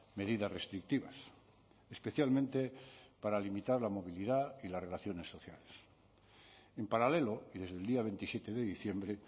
medidas restrictivas especialmente para limitar la movilidad y las relaciones sociales en paralelo y desde el día veintisiete de diciembre